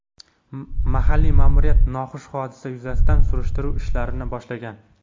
Mahalliy ma’muriyat noxush hodisa yuzasidan surishtiruv ishlarini boshlagan.